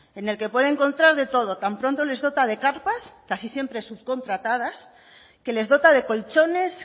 en el que puede encontrar de todo tan pronto les dota de carpas casi siempre subcontratadas que les dota de colchones